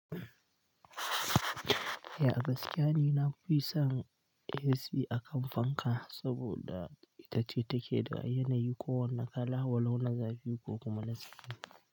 Eh a gaskiya ni na nafison AC a kan fanka saboda ita ce take da yanayi ko wane kala, walau na zafi ko kuma na sanyi.